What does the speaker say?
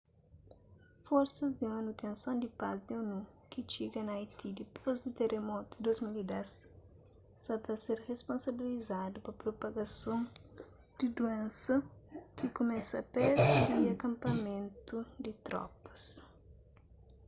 forsas di manutenson di paz di onu ki txiga na haiti dipôs di teramotu di 2010 sa ta ser risponsabilizadu pa propagason di duénsa ki kumesa pertu di akanpamentu di tropas